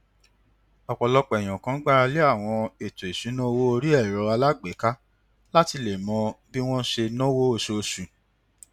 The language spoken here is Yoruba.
òpòlọpọ èyànkan gbáralé àwọn ètò ìṣúnná owó orí ẹrọ alágbèéká láti lè mọ bí wón ṣe náwó óṣooṣù